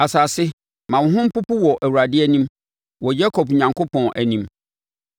Asase, ma wo ho mpopo wɔ Awurade anim, wɔ Yakob Onyankopɔn anim,